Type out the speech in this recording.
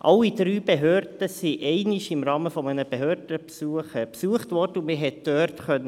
Alle drei Behörden wurden einmal im Rahmen eines Behördenbesuchs besucht, und man konnte dort